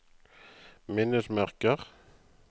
minnesmerker